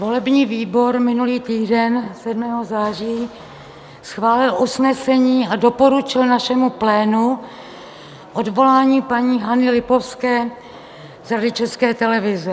Volební výbor minulý týden 7. září schválil usnesení a doporučil našemu plánu odvolání paní Hany Lipovské z Rady České televize.